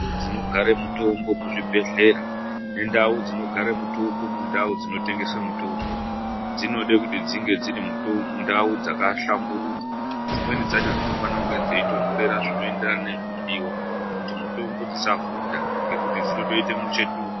Ndau dzinogara mutombo muzvibhedhlera ngendau dzinogara mutombo mundau dzinotengeswa mutombo, dzinoda kuti dzinge dziri ndau dzakahlamburuka. Dzimweni dzacho dzinofanakunge dzeitondorera zvinoenderana nezvinodiwa, kuti mutombo dzisa vhunda ngekuti dzinotoita muchetura.